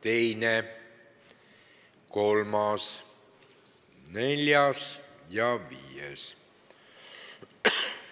teine, kolmas, neljas ja viies.